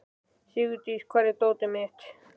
Sigurdís, hvar er dótið mitt?